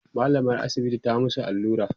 mallamar asibiti ta musu allura